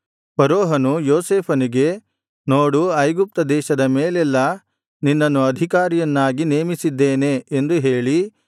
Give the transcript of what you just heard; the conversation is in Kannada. ಫರೋಹನು ಯೋಸೇಫನಿಗೆ ನೋಡು ಐಗುಪ್ತ ದೇಶದ ಮೇಲೆಲ್ಲಾ ನಿನ್ನನ್ನು ಅಧಿಕಾರಿಯನ್ನಾಗಿ ನೇಮಿಸಿದ್ದೇನೆ ಎಂದು ಹೇಳಿ